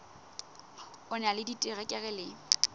o na le diterekere le